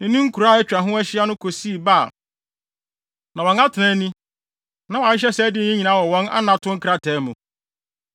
ne ne nkuraa a atwa ho ahyia no kosii Baal. Na wɔn atenae ni, na wɔahyehyɛ saa din yi nyinaa wɔ wɔn anato nkrataa mu.